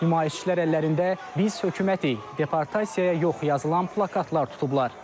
Nümayişçilər əllərində biz hökumətik, deportasiyaya yox yazılan plakatlar tutublar.